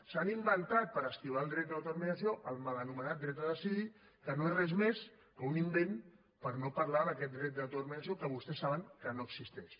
s’han inventat per esquivar el dret d’autodeterminació el mal anomenat dret a decidir que no és res més que un invent per no parlar d’aquest dret d’autodeterminació que vostès saben que no existeix